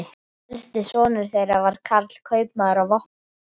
Elsti sonur þeirra var Karl, kaupmaður á Vopnafirði.